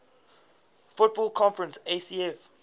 football conference afc